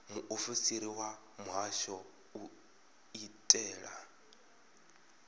muofisiri wa muhasho u itela